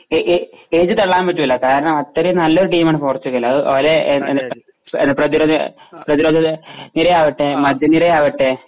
A ഏ എഴുതി തള്ളാൻ പറ്റൂല കാരണം അത്രേം നല്ലൊരു ടീമാണ് പോർച്ചുഗല് അത് അവരെ പ്രതിരത പ്രതിരോധ നിരയാവട്ടെ മദ്യനിരയാവട്ടെ